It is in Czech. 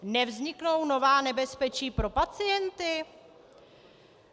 Nevzniknou nová nebezpečí pro pacienty?